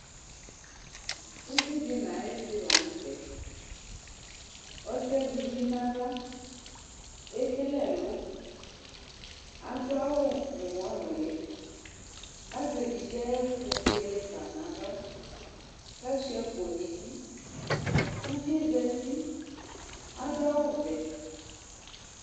Uvi di nu ayu isi la nu tɛ Ɔsi yɛ azɛ uvi nu aɣla Ekele ɛlɔ Adu awu nu uwɔ nuli Azɛ evidze yɛ ayɛku buele fa nu aɣla Asuia akpo nu idu Uvi yɛ za uti Adu awu vɛ